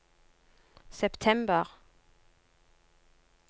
september